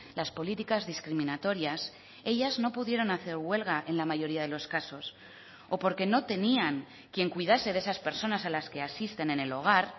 las políticas discriminatorias ellas no pudieron hacer huelga en la mayoría de los casos o porque no tenían quien cuidase de esas personas a las que asisten en el hogar